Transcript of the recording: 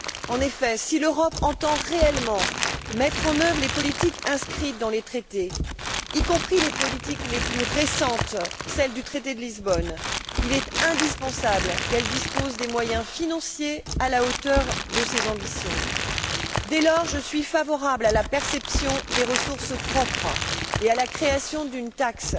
En effet, si l'Europe entend réellement mettre en œuvre les politiques inscrites dans les traités, y compris les politiques les plus récentes celles du traité de Lisbonne il est indispensable qu'elle dispose des moyens financiers à la hauteur de ses ambitions. Dès lors, je suis favorable à la perception des ressources propres et à la création d'une taxe